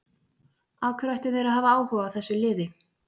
Af hverju ættu þeir að hafa áhuga á þessu liði?